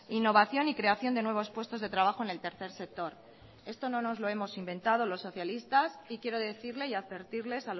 innovación y creación de nuevos puestos de trabajo en el tercer sector esto no nos lo hemos inventado los socialistas y quiero decirle y advertirles